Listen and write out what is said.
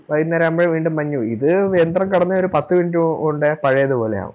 വൈകുന്നേരവുമ്പഴേ വീണ്ടും മഞ്ഞ് വീഴും ഇത് യന്ത്രം കടന്ന് ഓര് പത്ത് Minute കൊണ്ട് പഴയത് പോലെയാവും